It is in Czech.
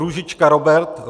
Růžička Robert